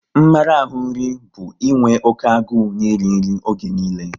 Mmarahu nri bụ inwe oké agụ n'iri nri oge niile